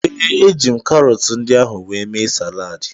Ee, eji m karọtụ ndị ahụ wee mee saladị.